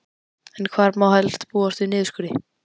En hvar má helst búast við niðurskurði?